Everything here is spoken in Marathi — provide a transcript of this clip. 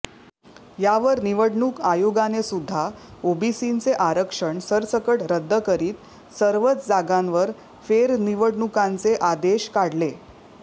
यावर निवडणूक आयोगानेसुद्धा ओबीसींचे आरक्षण सरसकट रद्द करीत सर्वच जागांवर फेरनिवडणुकांचे आदेश काढले